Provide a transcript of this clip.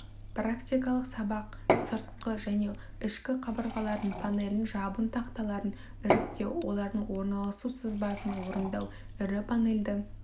практикалық сабақ сыртқы және ішкі қабырғалардың панелін жабын тақталарын іріктеу олардың орналасу сызбасын орындау ірі панельді